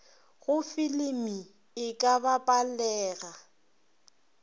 go filimi e ka bapalega